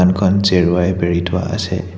জেৰুৱাই বেৰি থোৱা আছে।